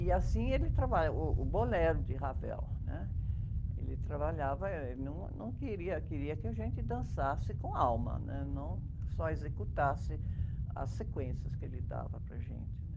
E assim ele trabalha, uh, uh, o bolero de Ravel, né? Ele trabalhava, ele num, não queria que a gente dançasse com alma, não só executasse as sequências que ele dava para a gente, né?